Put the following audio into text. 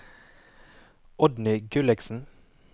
Oddny Gulliksen